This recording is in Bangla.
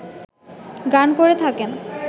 গান করে থাকেন